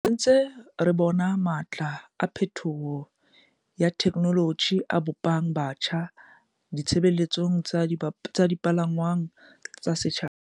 "Re se ntse re bona matla a phethoho ya thekenoloji a bo pang botjha ditshebeletso tsa dipalangwang tsa setjhaba."